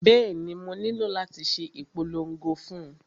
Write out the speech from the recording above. Bẹ́ẹ̀ni, mo nílò láti ṣe ìpolongo fún un